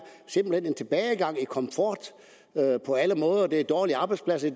en tilbagegang i komfort på alle måder det er dårlige arbejdspladser